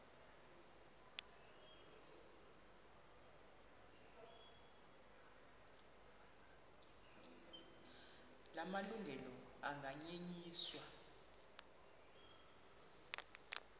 la malungelo anganyenyiswa